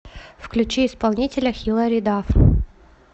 включи исполнителя хилари даф